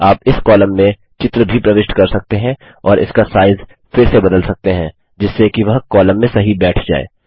आप इस कॉलम में चित्र भी प्रविष्ट कर सकते हैं और उसका साइज फिर से बदल सकते हैं जिससे कि वह कॉलम में सही बैठ जाए